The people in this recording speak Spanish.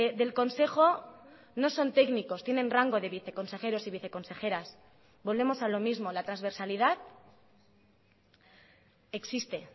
del consejo no son técnicos tienen rango de viceconsejeros y viceconsejeras volvemos a lo mismo la transversalidad existe